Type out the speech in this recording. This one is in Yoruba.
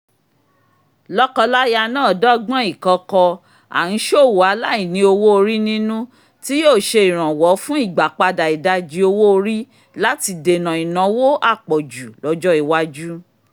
lọ́kọláya náà dọ́gbọ́n ìkọ̀kọ̀ à-ń-ṣòwò-aláìní -owó-orí-nínú tí yóò ṣe ìrànwọ́ fún ìgbàpadà ìdajì owó-orí láti dènà ìnáwó àpọ̀jù lọ́jọ́ iwájú